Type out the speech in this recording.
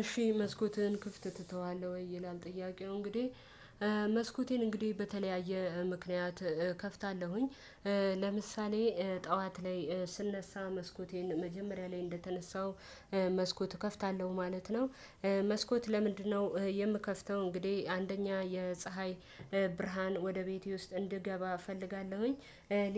እሺ መስኮትን ክፍት ትተዋለሁ ወይ ይላል ጥያቄ ነው? እንግዲህ መስኮቴን እንግዲህ በተለያየ ምክንያት እከፍታለሁኝ ለምሳሌ ጠዋት ላይ ስነሳ መስኮቴን መጀመሪያ ላይ እንደተነሳው መስኮት እከፍታለሁ ማለት ነው። መስኮት ለምንድነው የምከፍተው? እንግዲህ አንደኛ የፀሀይ ብርሃን ወደ ቤቴ ውስጥ እንዲገባ እፈልጋለሁኝ።